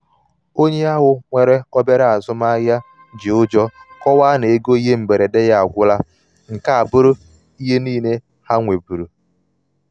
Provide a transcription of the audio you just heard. onye ahụ nwere obere azụmahịa ji ụjọ kọwaa na ego ihe mberede ha agwụla nke a abụrụ ihe niile ha nwebuuru.